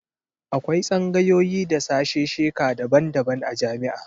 Akwai tsangayoyi da sashesheka daban-daban a jami'a.